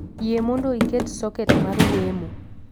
Yie mondo iket soket mar wemo